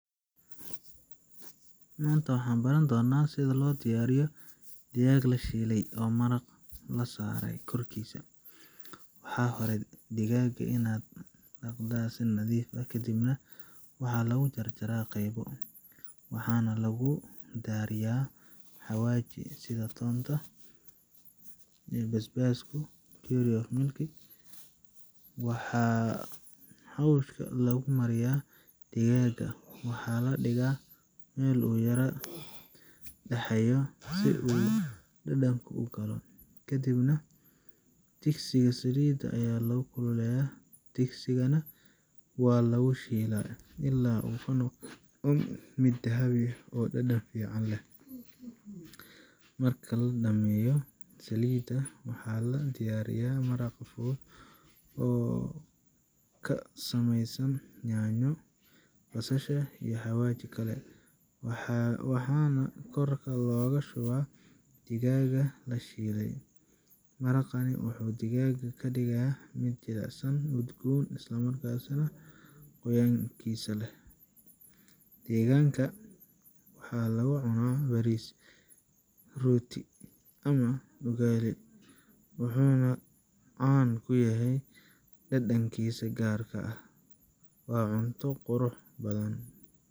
Maanta waxaan baran doonnaa sida loo diyaariyo digaag la shiilay oo maraq la saaray korkiisa. Marka hore, digaagga waa la dhaqaa si nadiif ah, kadibna waxaa lagu jarjaraa qaybo, waxaana lagu darayaa xawaashyo sida toonta, basbaaska, curry, iyo milix. Marka xawaashka lagu mariyo, digaagga waxaa la dhigaa meel uu ku yara dhaxayo si uu dhadhanka u galo. Kadib, digsiga saliid ayaa lagu kululeeyaa, digaaggana waa lagu shiilaa ilaa uu ka noqdo mid dahabi ah oo dhadhan fiican leh. Marka la dhammeeyo shiilidda, waxaa la diyaariyaa maraq fudud oo ka samaysan yaanyo, basasha, iyo xawaashyo kale, waxaana korka looga shubaa digaagga la shiilay. Maraqani wuxuu digaagga ka dhigaa mid jilicsan, udgoon, isla markaana qoyaankiisa leh. Digaaggan waxaa lagu cunaa bariis, rooti ama ugali, wuxuuna caan ku yahay dhadhankiisa gaar ah. Waa cunto qurux badan.